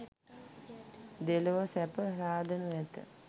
දෙලොව සැප සාදනු ඇත.